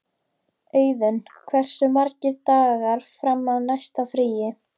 Auðun, hversu margir dagar fram að næsta fríi?